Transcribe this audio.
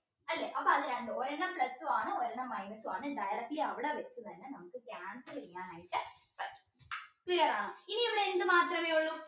അല്ലെ അപ്പൊ അത് രണ്ട് ഒരെണ്ണം plus ഉ ആണ് ഒരെണ്ണം minus ആണ് directly അവിടെ വെച് തന്നെ നമുക്ക് cancel ചെയ്യാനയിട്ട് പറ്റും clear ആണോ ഇനി ഉള്ളത് എന്ത് മാത്രമേ ഉള്ളു